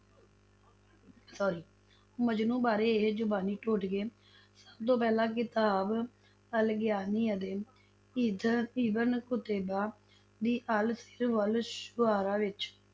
Sorry ਮਜਨੂੰ ਬਾਰੇ ਇਹ ਜ਼ਬਾਨੀ ਟੋਟਕੇ ਸਭ ਤੋਂ ਪਹਿਲਾਂ ਕਿਤਾਬ ਅਲ-ਆਗਾਨੀ ਅਤੇ ਇਦ~ ਇਬਨ ਕੁਤੈਬਾ ਦੀ ਅਲ-ਸ਼ਿਰ ਵਲ-ਸ਼ੂਆਰਾ ਵਿੱਚ